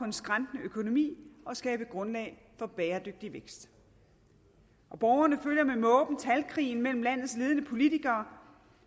skrantede økonomi og skabe grundlag for bæredygtig vækst borgerne følger med måben talkrigen mellem landets ledende politikere